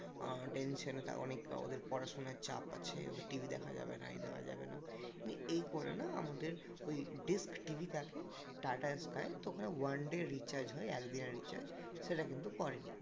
আহ tension অনেক ওদের পড়াশোনার চাপ আছে ওদের TV দেখা যাবে না এই দেওয়া যাবে না এই করে না আমাদের ওই TV টাকে tata sky তো ওখানে one day recharge হয় এক দিনের recharge সেটা কিন্তু করেনি